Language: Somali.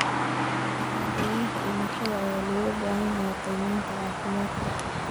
Shahaadooyinka dhimashada ayaa looga baahan yahay qiimeynta caafimaadka.